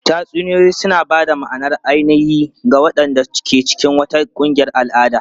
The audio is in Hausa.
Tatsuniyoyi suna ba da ma'anar ainihi ga waɗanda ke cikin wata ƙungiyar al'ada.